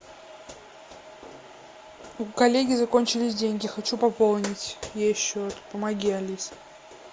у коллеги закончились деньги хочу пополнить ей счет помоги алиса